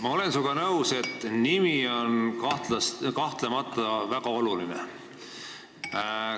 Ma olen sinuga nõus, et nimi on kahtlemata väga oluline.